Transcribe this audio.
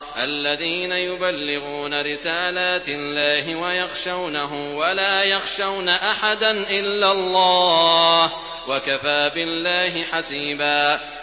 الَّذِينَ يُبَلِّغُونَ رِسَالَاتِ اللَّهِ وَيَخْشَوْنَهُ وَلَا يَخْشَوْنَ أَحَدًا إِلَّا اللَّهَ ۗ وَكَفَىٰ بِاللَّهِ حَسِيبًا